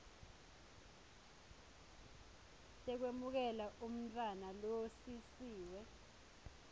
tekwemukela umntfwana losisiwe